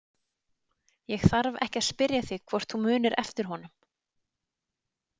Ég þarf ekki að spyrja þig hvort þú munir eftir honum.